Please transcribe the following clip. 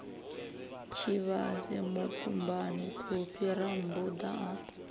tshivhase mukumbani phophi rammbuda a